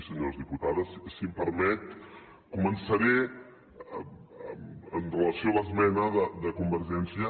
senyora olano si em permet començaré amb relació a l’esmena de convergència